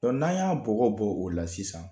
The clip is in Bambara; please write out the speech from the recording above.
N'a y'a bɔgɔ bɔ o la sisan